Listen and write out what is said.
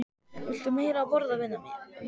Viltu meira að borða, vina mín